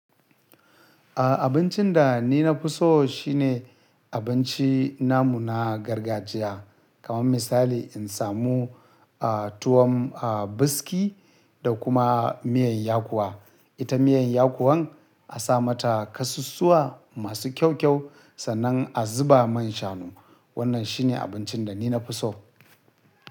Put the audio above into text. A abincin da ni na fi so shine abinci namu na gargajiya. Kaman misali in samu a tuwon a biski da kuma miyan yakuwa. Ita miyan yakuwan a sa mata kasussuwa masu kyau kyau sannan a zuba man shanu. Wannan shine abincin da ni na fi so.